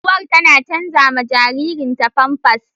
Uwar tana canza ma jaririnta famfas.